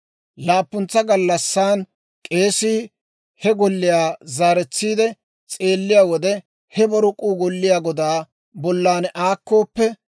Laappuntsa gallassaan k'eesii he golliyaa zaaretsiide; s'eelliyaa wode he borok'uu golliyaa godaa bollan aakkooppe,